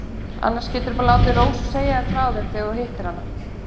Annars geturðu bara látið Rósu segja þér frá þeim þegar þú hittir hana.